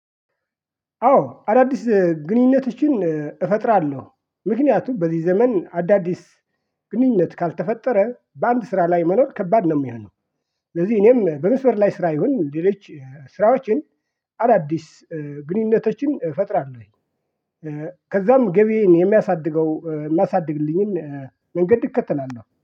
አዎ አዳዲስ ግንኙነቶችን እፈጥራለሁ ምክንያቱም በዚህ ዘመን አዳዲስ ግንኙነት ካልተፈጠረ በአንድ ስራ ላይ መኖር ከባድ ነው የሚሆነው። ስለዚህ እኔም በመስመር ላይ ስራ ይሁን ሌሎች ስራዎችን አዳዲስ ግንኙነቶችን እፈጥራለሁኝ፤ ከዛም ገቢዬን የሚያሳድገው የሚያሳድግልኝን መንገድ እከተላለው።